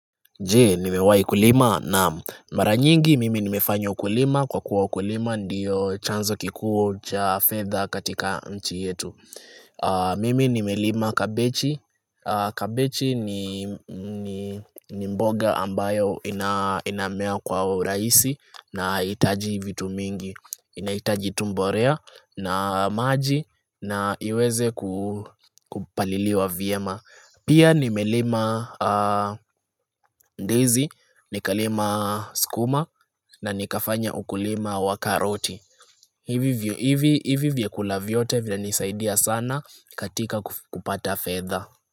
Je, nimewai kulima naam mara nyingi mimi nimefanya ukulima kwa kuwa ukulima ndiyo chanzo kikuu cha fedha katika nchi yetu Mimi nimelima kabechi, kabechi ni mboga ambayo inamea kwa uraisi na haiitaji vitu mingi Inaitaji tu mborea na maji na iweze kupaliliwa vyema Pia nimelima ndizi, nikalima skuma na nikafanya ukulima wa karoti. Hivi vyakula vyote vinanisaidia sana katika kupata fedha.